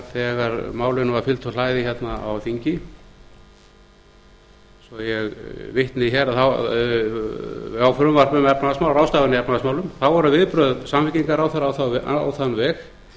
þegar málinu var fylgt úr hlaði hérna á þingi svo ég vitni hér frumvarp um ráðstafanir í efnahagsmálum þá voru viðbrögð samfylkingarráðherra á þann veg